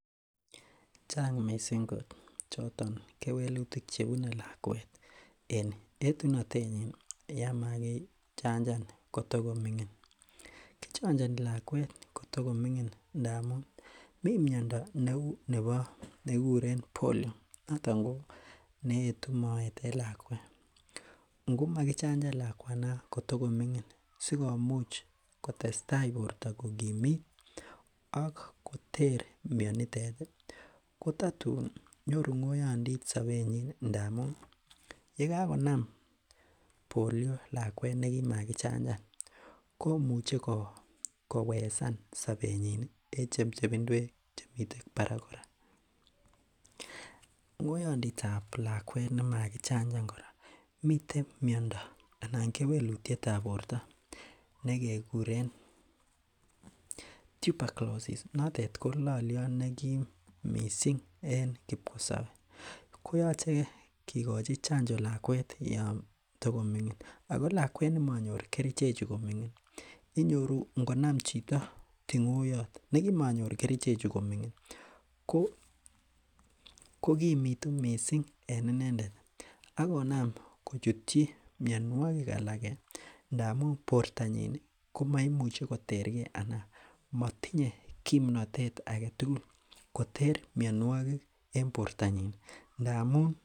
Miten tuguk inial en tuyosiek cheechen ih koname koyachegitu kotomaitar tuguchutet inei ko tuguk che kiame oleo. Ingelee kit neuu chego anan kit neuu magatiat. Ko yoon kayait koroitet kotoma iam magatiat ago kealen tuget neo. Ko kit nebo kamanut missing koirib kasartasit nangikonin Yoon kaislishe. Ko Yoon itinye kartasit notet ih , ago kit negoyait kora koyache inam tuguchutet aeng, magatiat ak kartasit nigan, aliwekte yait tuget nitet ih neoo ibekoite en ng'echeret nekitoreten kastomaek. Anan nekikasen kastomaek. Ibokokere icheket ih akoyan kole , yekaiker kartasit notet ih ibaru notet kole tuguchutet ko koialen tugani Ako yekicheche to toguchu ibekoitai kartasit notet ih Ako makomi rabinik chegoitoi segegonin, yekaiker kole koyait kit neuu magatiat ih kibakicherun age, tuguk all kora chegiwekta ko cheko, ko yoon iwektai chego ko lazima